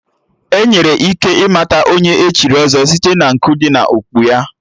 Enwere ike ịmata Onye echiri ọzọ site na nku dị n'okpu ya